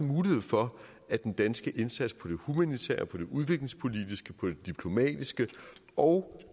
mulighed for at den danske indsats på det humanitære og på det udviklingspolitiske og på det diplomatiske og